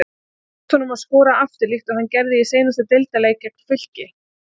Tekst honum að skora aftur líkt og hann gerði í seinasta deildarleik gegn Fylki?